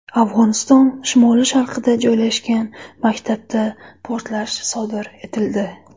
Afg‘oniston shimoli-sharqida joylashgan maktabda portlash sodir etildi.